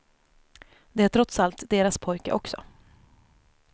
Det är trots allt deras pojke också.